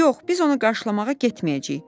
Yox, biz onu qarşılamağa getməyəcəyik.